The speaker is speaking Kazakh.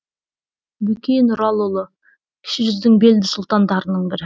бөкей нұралыұлы кіші жүздің белді сұлтандарының бірі